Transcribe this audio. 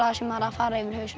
sem var að fara yfir hausinn